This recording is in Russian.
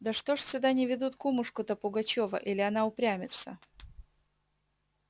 да что ж сюда не ведут кумушку-то пугачёва или она упрямится